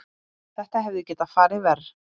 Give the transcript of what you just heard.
Þetta hefði getað farið verr.